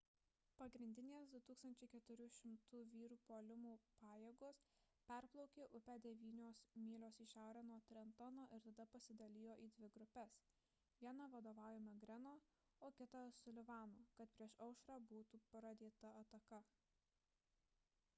pagrindinės 2 400 vyrų puolimo pajėgos perplaukė upę devynios mylios į šiaurę nuo trentono ir tada pasidalijo į dvi grupes vieną vadovaujamą greeno o kitą sullivano kad prieš aušrą būtų pradėta ataka